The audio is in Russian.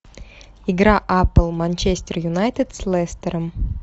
игра апл манчестер юнайтед с лестером